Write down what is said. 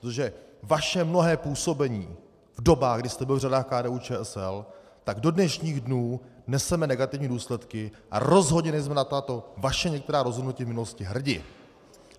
Protože vaše mnohé působení v dobách, kdy jste byl v řadách KDU-ČSL, tak do dnešních dnů neseme negativní důsledky a rozhodně nejsme na tato vaše některá rozhodnutí v minulosti hrdi.